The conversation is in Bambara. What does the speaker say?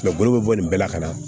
bolo bɛ bɔ nin bɛɛ la ka na